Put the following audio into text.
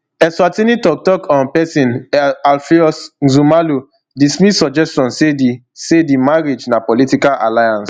eswatini toktok um pesin alpheous nxumalo dismiss suggestion say di say di marriage na political alliance